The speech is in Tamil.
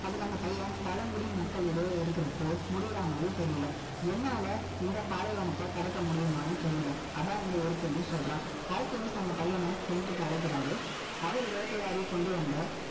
அதுக்கு அந்த பையன், பழங்குடி மக்கள் இடையே இருக்கிறப்போ, முடியிற மாதிரி தெரியலே. என்னால, இந்த பாலைவனத்தை குடுக்க முடியுமான்னு தெரியலே இங்க இருக்குன்னு சொல்றான். Alchemist அந்த பையன, Tent க்கு அழைக்கிறாரு. அவரு வேட்டையாடி கொண்டு வந்த,